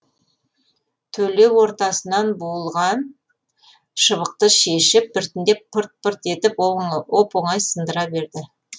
төле ортасынан буылған шыбықты шешіп біртіндеп пырт пырт етіп оп оңай сындыра береді